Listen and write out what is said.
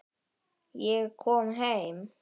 Ég kom heim!